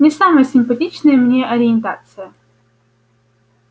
не самая симпатичная мне ориентация